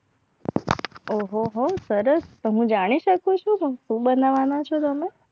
ઓહો હો સરસ તમે જાણી શકો છો તમે શું બનવાનું છું.